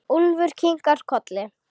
Úlfur kinkar kolli.